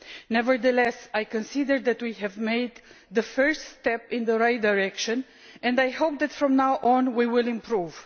nevertheless, I consider that we have made the first step in the right direction and I hope that from now on we will improve.